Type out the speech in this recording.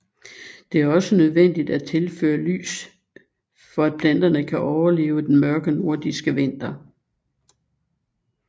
Det er også nødvendigt at tilføre lys for at planterne kan overleve den mørke nordiske vinter